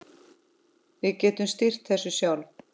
Við getum stýrt þessu sjálf.